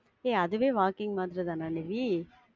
ஏ அதுவே walking மாதிரி தான நிவி.